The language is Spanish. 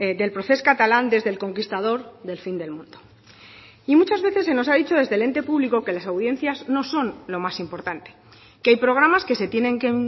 del procés catalán desde el conquistador del fin del mundo y muchas veces se nos ha dicho desde el ente público que las audiencias no son lo más importante que hay programas que se tienen que